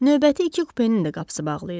Növbəti iki kupenin də qapısı bağlı idi.